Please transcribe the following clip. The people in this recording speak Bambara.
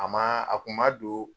A maa a kun ma doon